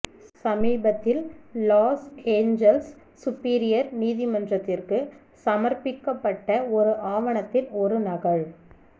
சமீபத்தில் Los Angeles superior நீதிமன்றத்திற்கு சமர்ப்பிக்கப்பட்ட ஒரு ஆவணத்தின் ஒரு நகல்